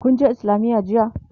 kunje islamiya jiya?